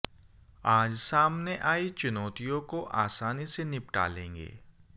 आज सामने आयी चुनौतियों को आसानी से निपटा लेंगे